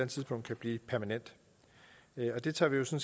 tidspunkt kan blive permanent og det tager vi jo